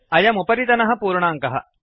अयम् उपरितनः पूर्णाङ्कः